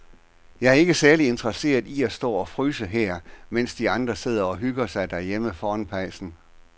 Jeg er ikke særlig interesseret i at stå og fryse her, mens de andre sidder og hygger sig derhjemme foran pejsen.